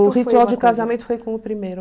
o ritual de casamento foi com o primeiro.